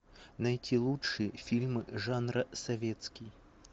найти лучшие фильмы жанра советский